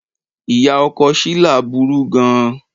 Ìyá ọkọ Shila burú gan-an.